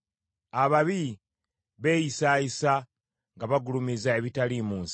Ababi beeyisaayisa nga bagulumiza ebitaliimu nsa.